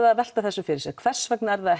að velta þessu fyrir sér hvers vegna er það